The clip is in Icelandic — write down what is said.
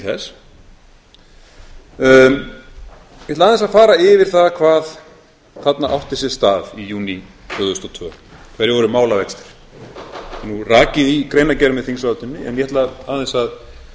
þess ég ætla aðeins að fara yfir það hvað hvað þarna átti sér stað í júní tvö þúsund og tvö hverjir voru málavextir það er nú rakið í greinargerð með þingsályktuninni en ég ætla aðeins að